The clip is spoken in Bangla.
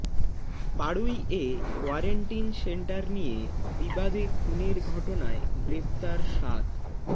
পাড়ুইয়ে কোয়ারেন্টিন সেন্টার নিয়ে বিবাদে খুনের ঘটনায় গ্রেফতার সাত